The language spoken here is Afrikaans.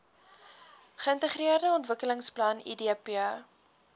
geintegreerde ontwikkelingsplan idp